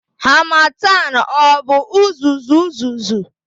Harmattan ọ bụ uzuzu uzuzu?